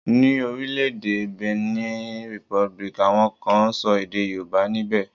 Ni orile-ede Benin Republic, awon kan n so ede Yoruba nibe.